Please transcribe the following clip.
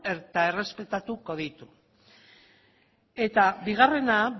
eta errespetatuko ditu eta bigarrena